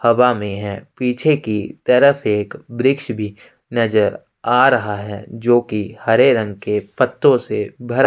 हवा में है पीछे की तरफ एक वृक्ष भी नजर आ रहा है जोकि हरे रंग के पत्तों से भरा --